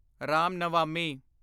Ram Navami